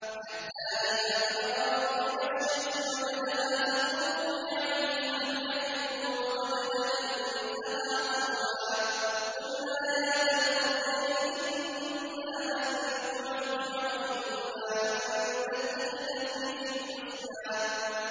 حَتَّىٰ إِذَا بَلَغَ مَغْرِبَ الشَّمْسِ وَجَدَهَا تَغْرُبُ فِي عَيْنٍ حَمِئَةٍ وَوَجَدَ عِندَهَا قَوْمًا ۗ قُلْنَا يَا ذَا الْقَرْنَيْنِ إِمَّا أَن تُعَذِّبَ وَإِمَّا أَن تَتَّخِذَ فِيهِمْ حُسْنًا